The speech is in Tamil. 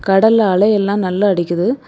கடல்ல அலை எல்லா நல்லா அடிக்குது.